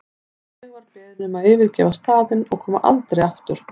Ég var beðin um að yfirgefa staðinn og koma aldrei aftur.